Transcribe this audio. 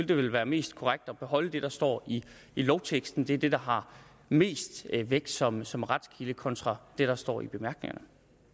det vel være mest korrekt at beholde det der står i lovteksten det er det der har mest vægt som som retskilde kontra det der står i bemærkningerne